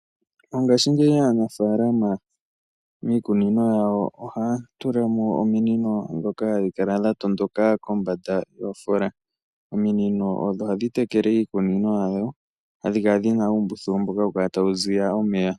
Mongaashingeyi aanafaalama miikunino yawo ohaya tulamo ominino ndhoka dha matuka yiikunino yawo. Ominino ohadhi tekele iikunino yawo hadhi kala dhina uumbululu mboka tawu ziya omeya .